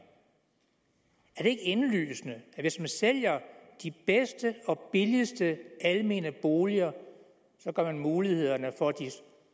er det ikke indlysende at hvis man sælger de bedste og billigste almene boliger gør man mulighederne for de